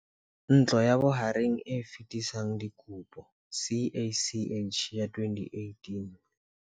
Ntlo ya Bohareng e Fetisang Dikopo CACH ya 2018.